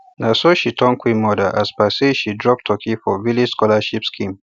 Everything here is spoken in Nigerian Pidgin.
naso she turn queen mother as per say she drop turkey for village scholarship scheme